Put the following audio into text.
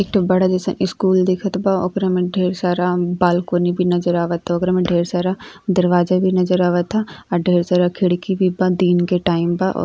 एक ठो बड़ा जैसा स्कूल दिखत बा ओकरा में ढ़ेर सारा बालकॉनी भी नजर आवता। ओकरे में ढ़ेर सारा दरवाजा भी नजर आवता आ ढ़ेर सारा खिड़की भी बा दिन के टाइम बा और--